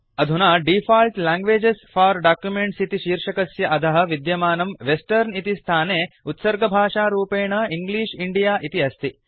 अदुना default languages for documents इति शीर्षकस्य अधः विद्यमानं वेस्टर्न इति स्थाने उत्सर्गभाषारूपेण इंग्लिश इण्डिया इति अस्ति